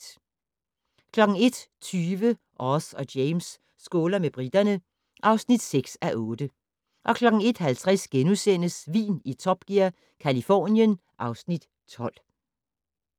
01:20: Oz og James skåler med briterne (6:8) 01:50: Vin i Top Gear - Californien (Afs. 12)*